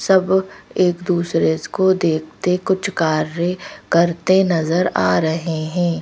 सब एक दूसरे को देखते कुछ कार्य करते नजर आ रहे हैं।